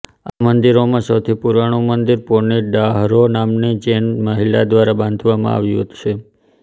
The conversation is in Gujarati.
આ મંદિરોમાં સૌથી પુરાણું મંદિર પોની ડાહરો નામની જૈન મહિલા દ્વારા બંધાવવામાં આવ્યું છે